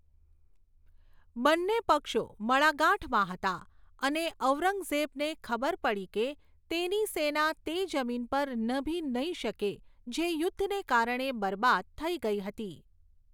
બંને પક્ષો મડાગાંઠમાં હતા અને ઔરંગઝેબને ખબર પડી કે તેની સેના તે જમીન પર નભી નહીં શકે જે યુદ્ધને કારણે બરબાદ થઈ ગઈ હતી.